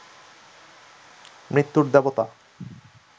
মৃত্যুর দেবতা